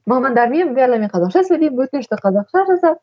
мамандармен бәрімен қазақша сөйлеймін өтінішті қазақша жазамын